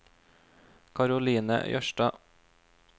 Karoline Jørstad